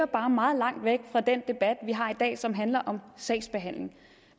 bare meget langt væk fra den debat vi har i dag og som handler om sagsbehandling